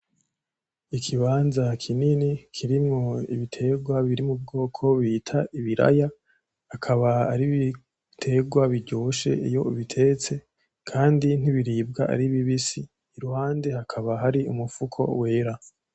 Ikibanza kinini kirimwo ibiterwa biri mu bwoko bita ibiraya, akaba ari ibiterwa biryoshe iyo ubitetse. kandi ntibiribwa ari bibisi. Iruhande hakaba hari umufuko wera.